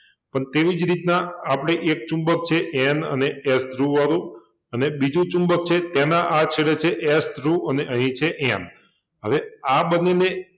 અને તેવી જ રીતના આપડે એક ચુંબક છે N અને S ધ્રુવવાળું અને બીજુ ચુંબક છે એના આ છેડે છે S ધ્રુવ અને અહિં છે N હવે આ બન્નેને